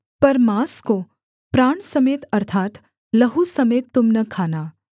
पर माँस को प्राण समेत अर्थात् लहू समेत तुम न खाना